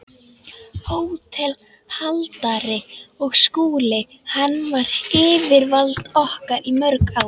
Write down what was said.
HÓTELHALDARI: Og Skúli- hann var yfirvald okkar í mörg ár.